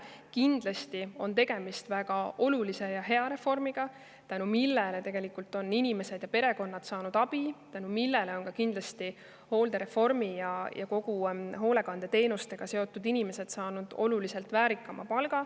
Muidugi on tegemist väga olulise ja hea reformiga, tänu millele on inimesed ja perekonnad tegelikult abi saanud ja tänu millele on ka hooldereformi ja üldse hoolekandeteenustega seotud inimesed saanud oluliselt väärilisema palga.